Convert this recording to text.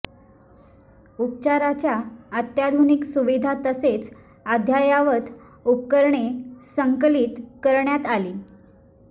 उपचाराच्या अत्याधुनिक सुविधा तसेच अद्ययावत उपकरणे संकलित करण्यात आली